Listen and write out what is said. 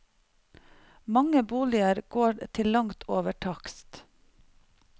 Mange boliger går til langt over takst.